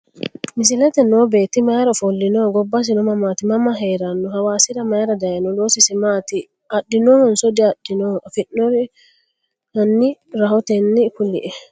Misilete noo beeti mayira ofolino gobasino mamaati mama heerano hawasira mayiira dayiino loosisi maati adhinonso diadhino afinooniri hani rahoteni kule`e?